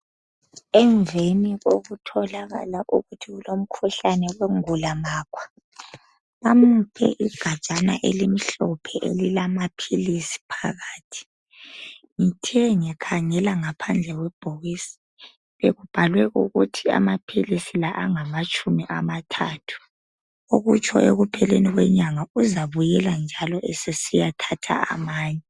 Emnveni kokutholakala ukuthi ulomkhuhlane umnvulamakhwa bamuphe igajana elilamaphilisi amhlophe phakathi, ngithe ngikhangela phandle ngabona ukuthi abhalwe ukuthi phakathi alitshumi lantathu, okutsho ekupheleni kwenyanga uzabuyela esiyathatha amanye.